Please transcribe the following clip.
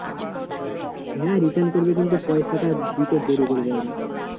হ্যাঁ return করবে কিন্তু পয়সাটা দিতে দেরী করবে ওরা,